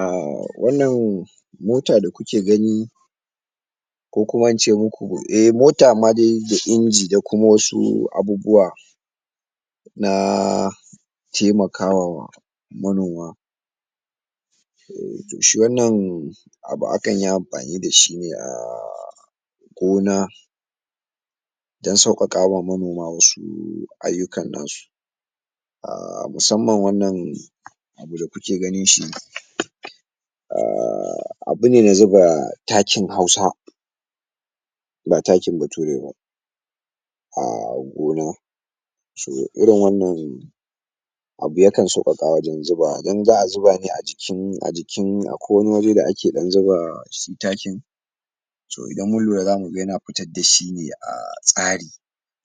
a wannan mota da kuke gani ko kuma in ce muku eh mota amma dai da inji da kuma wasu abubuwa na taimakawa manoma to shi wannan abu akan yi amfani dashi a gona dan sauƙaƙawa manoma wasu ayyukan nasu musamman wannan abu da kuke ganin shi abu ne an zuba takin hausa ba takin bature ba a gona so irin wannan abu ya kan sauƙaƙa wajen zuba dan za'a zuba ne a cikin a jikin akwai wani waje da ake dan zuba su takin to idan mun lura zamu ga yana fitar dashi ne a tsari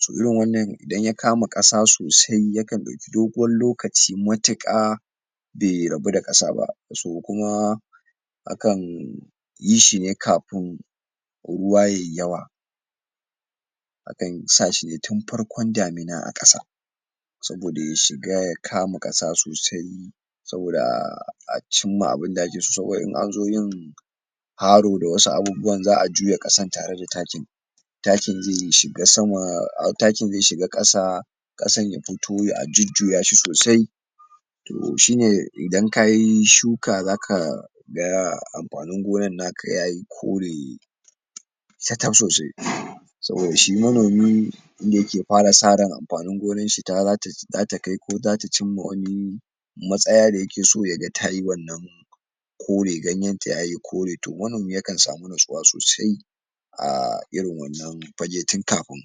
to irin wannan idan ya kama kasa sosai yakan dauki dogon lokaci matiƙa bai rabu da ƙasa ba so kuma akan yi shi ne kafin ruwa yayi yawa akan sa shi ne tun farkon dami na a ƙasa saboda ya shiga ya kama ƙasa sosai saboda a cin ma abun da ake so saboda in an zo yin haro da wasu abubu wa za'a juya ƙasan tare da takin takin zai shiga ƙasa ƙasan ya fito a jujjuya shi sosai to shine idan kayi shuka zaka ga amfanin gonan naka yayi kore sakaf sosai saboda shi manomi inda yake fara sa ran amfanin gonan shi zata kai ko zata cin ma wani matsaya da yake so ya ga tayi wannan kore ganyen ta yayi kore to wannan yakan samu nutsuwa sosai a irin wannan fage tun kafin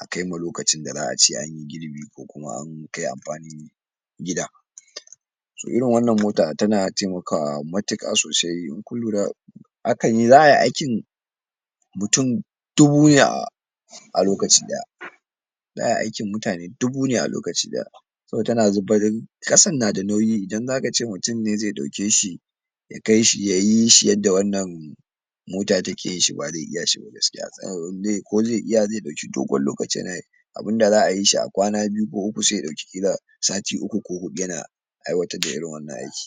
a kaima lokacin da za'a ce anyi girbi ko an kai amfanin gida so irin wannan motar tana taimaka wa matiƙa sosai in kun lura za'a yi aiki muyun dubu ne a a lokaci daya za'a yi aikin mutane dubu ne a lokaci daya saboda tana zufarin ƙasan nada nauyi idan zaka ce mutun ne zai dauke shi yayi shi yadda wannan mota take yin shi ba zai iya ba gaskiya ko zai iya zai dauki dogon lokaci yana yi abunda za'a yi shi a kwana biyu ko uku ƙila sai ya dauki sati uku ko hudu yana aiwatar da irin wannan aiki